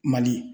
Mali